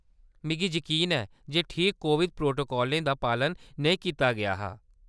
मिगी यकीन ऐ जे ठीक कोविड प्रोटोकालें दा पालन नेईं कीता गेआ हा।